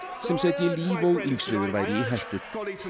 sem setti líf og lífsviðurværi í hættu